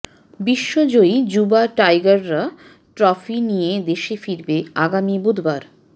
বিশ্বজয়ী যুবা টাইগাররা ট্রফি নিয়ে দেশে ফিরবে আগামী বুধবার